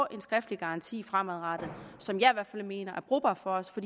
en skriftlig garanti fremadrettet som jeg i hvert fald mener er brugbar for os for